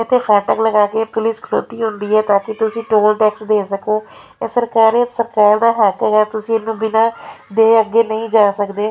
ਇੱਥੇ ਫਾਟਕ ਲਗਾ ਕੇ ਪੁਲਿਸ ਖੜੋਤੀ ਹੁੰਦੀ ਆ ਤਾਂ ਕਿ ਤੁਸੀਂ ਟੋਲ ਟੈਕਸ ਦੇ ਸਕੋ ਇਹ ਸਰਕਾਰੀ ਸਰਕਾਰ ਦਾ ਹੈ ਤੇ ਹੈ ਤੁਸੀਂ ਇਹਨੂੰ ਬਿਨਾ ਦੇ ਅੱਗੇ ਨਹੀਂ ਜਾ ਸਕਦੇ --